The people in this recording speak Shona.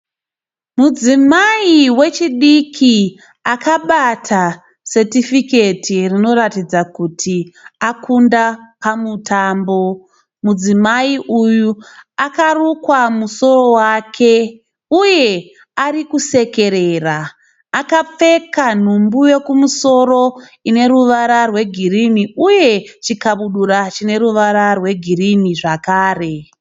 Mudzimai wechidiki akabata setifiketi rinoratidza kuti akunda pamutambo. Mudzimai uyu akarukwa musoro wake uye arikusekerera. Akapfeka nhumbi yekumusoro ine ruvara rwe girinhi uye chikabudura chine ruvara rwe girinhi zvakare.